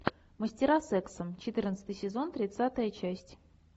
мастера секса четырнадцатый сезон тридцатая часть